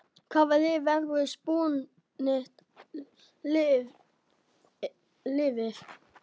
Hvaða lið verður spútnik liðið?